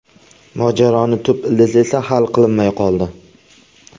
Mojaroning tub ildizi esa hal qilinmay qoldi.